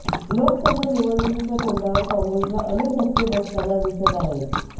लोकसभा निवडणुकीच्या तोंडावर काँग्रेसला अनेक धक्के बसताना दिसत आहेत